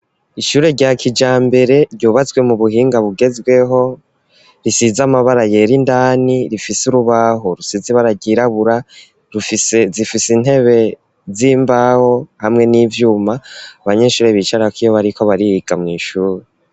Ishure rya kijambere, ryubatswe mu buhinga, bugezweho, risize amabara yera, indani; rifise urubaho, rusize ibara ryirabura; zifise intebe, z'imbaho, hamwe n'ivyuma, abanyeshure bicarako, iyo bariko bariga, mw'ishuri.